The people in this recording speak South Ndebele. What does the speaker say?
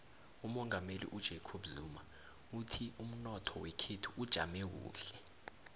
umongameli ujacob zuma uthi umnotho wekhethu ujame kuhle